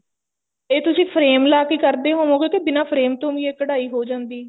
ਇਹ ਤੁਸੀਂ frame ਲਾਕੇ ਕਰਦੇ ਹੋਵੋਗੇ ਕੇ ਬਿਨਾ frame ਤੋਂ ਵੀ ਇਹ ਕਢਾਈ ਹੋ ਜਾਂਦੀ